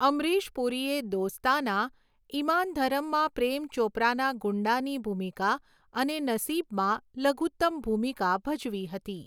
અમરીશ પુરીએ દોસ્તાના, ઈમાન ધરમમાં પ્રેમ ચોપરાના ગુંડાની ભૂમિકા અને નસીબમાં લઘુત્તમ ભૂમિકા ભજવી હતી.